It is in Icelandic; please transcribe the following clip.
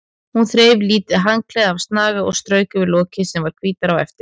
Hún þreif lítið handklæði af snaga og strauk yfir lokið sem varð hvítara á eftir.